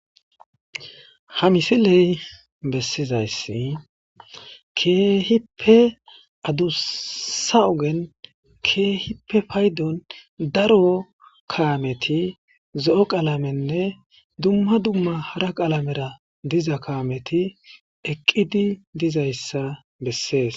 Ha misiley bessizayssi keehippe adussa ogen keehippe paydon daro kaameti zo'o qalamenne dumma dumma hara qalamera diza kaameti eqqidi dizayssa bessees